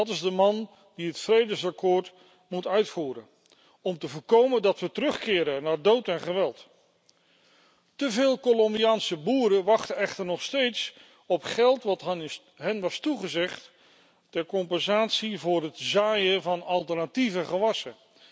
Dat is de man die het vredesakkoord moet uitvoeren om te voorkomen dat we terugkeren naar dood en geweld. Te veel Colombiaanse boeren wachten echter nog steeds op geld dat hun was toegezegd ter compensatie van het zaaien van alternatieve gewassen.